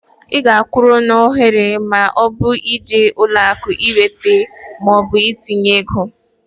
Ị ga-akwụrụ n'ahịrị ma ọbụrụ na ịje ụlọakụ iweta maọbụ itinye ego.